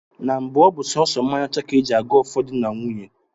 Na mbụ ọ bụ sọọsọ mmanya ọcha ka e ji ago ọfọ di na nwunye